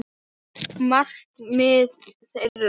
Markmið þeirra.